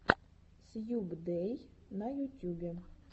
сьюбдэй на ютюбе